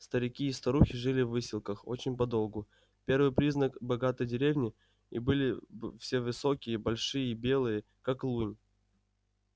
старики и старухи жили в выселках очень подолгу первый признак богатой деревни и были все высокие большие и белые как лунь